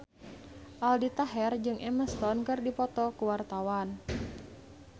Aldi Taher jeung Emma Stone keur dipoto ku wartawan